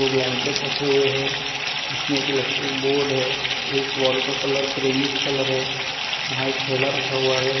दो ब्लैंकेट रखे हुए है इसमें एक इलेक्ट्रिक बोर्ड है इस वॉल का कलर क्रिमिश कलर है वहां थैला रखा हुआ है।